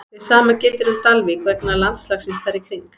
Hið sama gildir um Dalvík vegna landslagsins þar í kring.